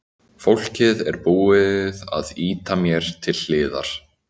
Fólkið er búið að ýta mér til hliðar.